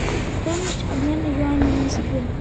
стоимость обмена юаней в москве